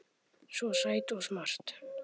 Svo sæt og smart.